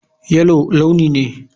Yellow launi ne.